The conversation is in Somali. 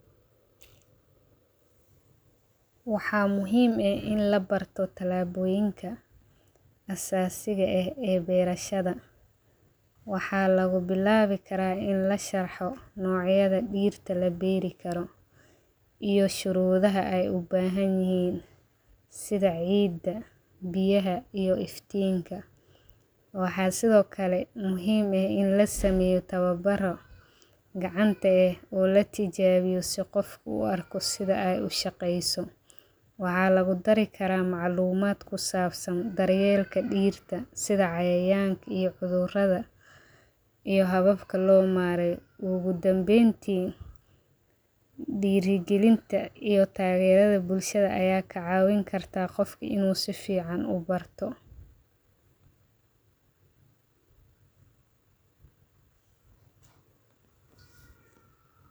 Waxaa muhiim eh in labarto talaboyinkaa, asasiga eh ee berashaada, waxaa lagu bilawi karaa in lasharxo nocyaada geedka la beeri karo iyo sharudhaha ee u bahan yihin, sidha ciida, biyaha iyo iftinkaa, waxaa sidhokale muhiim ah in lasameyo tawabaro gacanta eh o latijawiyo si qofka u arko sithee u shaqeyso, waxaa lagu dari karaa maclumaad kusabsan daryeelka diirta, sithaa cayayanka, iyo cuthuraadha iyo hababka lo mareyo, ogu Danbenta diira galintaa iyo tageradaa bulshaada aya ka cawin kartaa qofka inu sifiican ubarto.